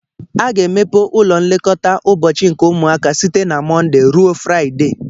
A ga-emepe ụlọ nlekọta ụbọchị nke ụmụaka site na Mọnde ruo Fraịde.